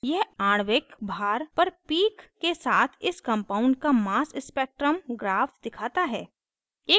यह आणविक भार पर पीक के साथ इस कंपाउंड का मास स्पेक्ट्रम ग्राफ दिखाता है